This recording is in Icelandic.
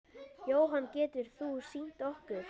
Jóhann: Getur þú sýnt okkur?